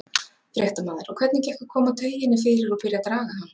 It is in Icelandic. Fréttamaður: Og hvernig gekk að koma tauginni fyrir og byrja að draga hann?